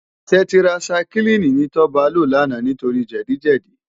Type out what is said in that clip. Tètirásáikilini ni Toba ló làná nitóri jèdi jèdi